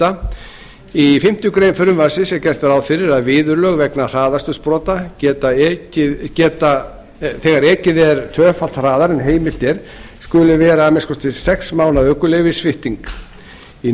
sjötti í fimmtu grein frumvarpsins er gert ráð fyrir að viðurlög vegna hraðakstursbrota þegar ekið er tvöfalt hraðar en heimilt er skuli vera að minnsta kosti sex mánaða ökuleyfissvipting í